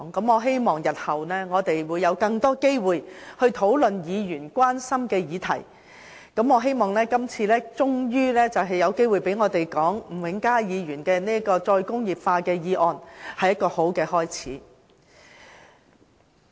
我希望日後會有更多機會討論議員關心的議題，而這次我們終於有機會就吳永嘉議員所提出有關"再工業化"的議案發言，是一個好的開始。